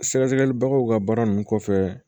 Sɛgɛsɛgɛli bagaw ka baara ninnu kɔfɛ